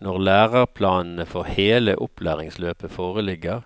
Når læreplanene for hele opplæringsløpet foreligger,